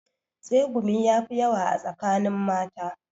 Tsegumi ya fi yawa a tsakanin mata